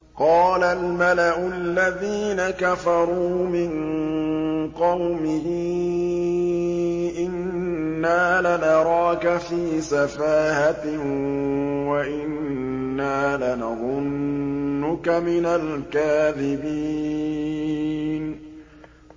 قَالَ الْمَلَأُ الَّذِينَ كَفَرُوا مِن قَوْمِهِ إِنَّا لَنَرَاكَ فِي سَفَاهَةٍ وَإِنَّا لَنَظُنُّكَ مِنَ الْكَاذِبِينَ